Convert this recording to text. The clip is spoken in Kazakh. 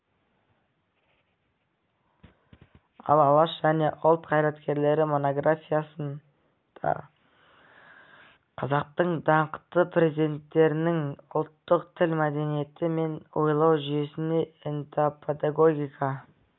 ал алаш және ұлт қайраткерлері монографиясында қазақтың даңқты перзенттерінің ұлттық тіл мәдениеті мен ойлау жүйесіне этнопедагогика